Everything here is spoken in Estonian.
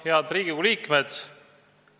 Head Riigikogu liikmed!